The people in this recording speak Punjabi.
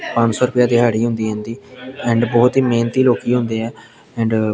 ਪਾਂਜ ਸੋ ਰੁਪਿਆ ਦਿਹਾੜੀ ਹੁੰਦੀ ਹੈ ਇਹਦੀ ਐਂਡ ਬੋਹੁਤ ਹੀ ਮੇਹਨਤੀ ਲੋਕੀਂ ਹੁੰਦੇ ਹੈਂ ਐਂਡ --